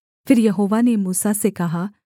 फिर यहोवा ने मूसा से कहा